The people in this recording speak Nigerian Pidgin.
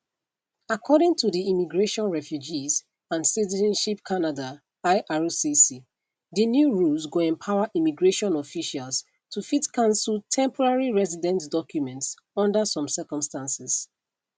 according to di immigration refugees and citizenship canada ircc di new rules go empower immigration officials to fit cancel temporary residents documents under some circumstances